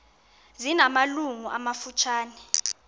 zina malungu amafutshane